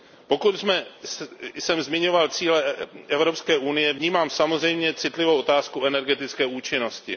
Pokud jsem zmiňoval cíle Evropské unie, vnímám samozřejmě citlivou otázku energetické účinnosti.